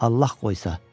Allah qoysa.